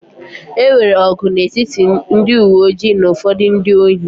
E nwere ọgụ n'etiti ndị uwe ojii na ụfọdụ ndị ohi